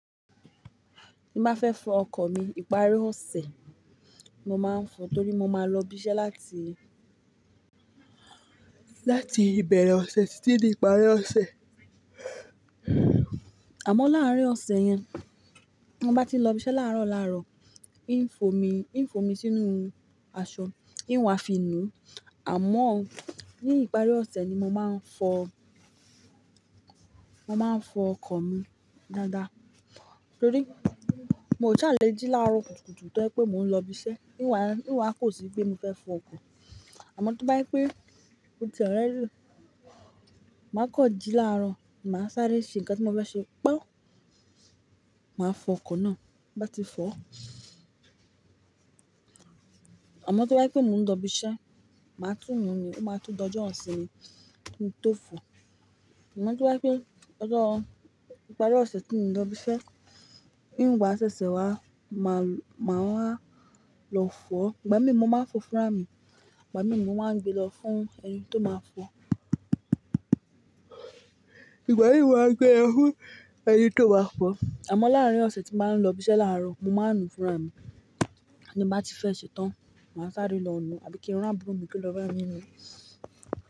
Tí má fẹ́ fọ ọkọ̀ mi ìparí ọ̀sẹ̀ mo máa ń fọ, torí mo máa ń lọ ibi iṣẹ́ láti, láti ìbẹ̀rẹ̀ ọ̀sẹ̀ títídé ìparí ọ̀sẹ̀. Àmọ́ láàárín ọ̀sẹ̀ yẹn, mo bá ti lọ ibi iṣẹ́ láàárọ̀ láàárọ̀, kì ń fò mí, kì ń fò mí sínú aṣọ, i wá fi nùú. Àmọ́ ní ìparí ọ̀sẹ̀ ni mo máa ń fọ, mo máa ń fọ ọkọ̀ mi dáadáa. Torí mo ò ṣàlè jí láàárọ̀ kùtùkùtù tán pé mò ń lọ ibi iṣẹ́, íwà, íwà kò sì pé mo fẹ́ fọ ọkọ̀. Àmọ́ tó bá yí pé mòtí already, màá kan jí láàárọ̀, màá sáré ṣe nǹkan tí mo fẹ́ ṣe paun, màá fọ ọkọ̀ náà bá ti fọ́. Àmọ́ tó bá yí pé mò ń dọ ibi iṣẹ́, màá tún nu ni, ó máa tún dojú hàn sí mi kí n tó fọ. Ìmọ̀ tó bá yí pé ọjọ́ ìparí ọ̀sẹ̀ tí mò ń dọ ibi iṣẹ́, níwà ṣẹṣẹ wá, màá, màá wá lọ fọ. Ìgbà mìíràn mo máa ń fọ fúnra mi, ìgbà mìíràn mo máa ń gbé lọ fún ẹni tó máa fọ. Ìgbà mìíràn mo máa ń gbé lọ fún ẹni tó máa fọ. Àmọ́ láàárín ọ̀sẹ̀ tí màá ń lọ ibi iṣẹ́ láàárọ̀, mo máa ń nu fúnra mi. Tí mo bá ti fẹ́ ṣetán, màá sáré lọ nu àbí kí irun àbúrò mi kí ó lọ bá ẹni mú.